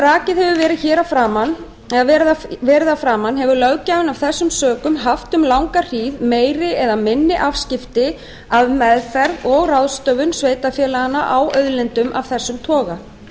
rakið hefur verið að framan hefur löggjafinn af þessum sökum haft um langa hríð meiri eða minni afskipti af meðferð og ráðstöfun sveitarfélaganna á auðlindum af þessum toga